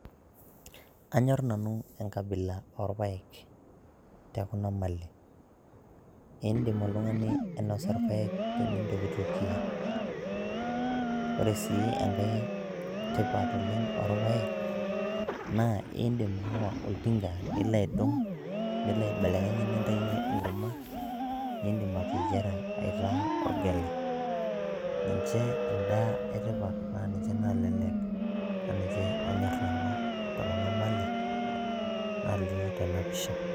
Anyor nanu enkabila orpaek te Kuna Malin, indim oltung'ani ainosa irpaek tenintokitokie. Kore sii enkae tipat oleng' orpaek naa indim aawa oltinka nilo aidong' nilo aibelekeny nintayunye enkurma nindim ateyiara aitaa orgali. Ninje endaa e tipat naa ninje nalelek naa ninje anyor nanu te Kuna malin nalio tena pisha.